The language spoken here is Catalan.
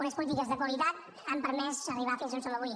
unes polítiques de qualitat han permès arribar fins a on som avui